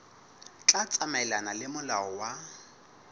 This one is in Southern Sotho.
tla tsamaelana le molao wa